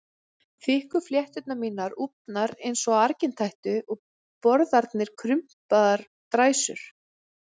Þykku flétturnar mínar úfnar eins og á argintætu og borðarnir krumpaðar dræsur.